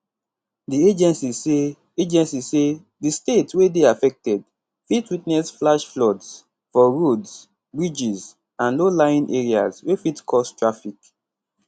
di agency say agency say di state wey dey affected fit witness flash floods for roads bridges and lowlying areas wey fit cause traffic